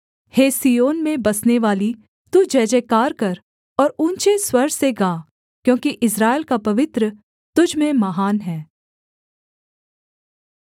हे सिय्योन में बसनेवाली तू जयजयकार कर और ऊँचे स्वर से गा क्योंकि इस्राएल का पवित्र तुझ में महान है